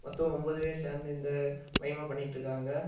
மொத்தம் ஒன்பது பேர் சேர்ந்து இந்த மைம் பண்ணிட்டு இருக்காங்க.